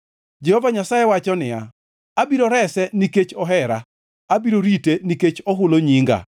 Jehova Nyasaye wacho niya, “Abiro rese nikech ohera; abiro rite nikech ohulo nyinga.